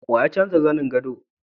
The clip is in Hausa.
Wa ya canza zanin gado?